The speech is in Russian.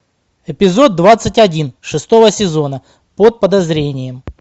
эпизод двадцать один шестого сезона под подозрением